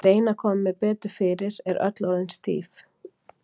Ég reyni að koma mér betur fyrir, er öll orðin stíf.